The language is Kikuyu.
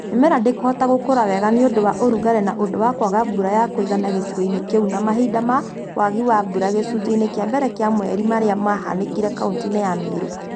Mĩmera ndĩ kũhota gũkũra wega nĩ ũndũ wa ũrugarĩ nĩ ũndũ wa kwaga mbura ya kũigana gĩcigo-inĩ kĩu na mahinda ma wagi wa mbura gĩcunjĩ-inĩ kĩa mbere kĩa mweri marĩa mahanĩkire kauntĩ-inĩ ya Meru.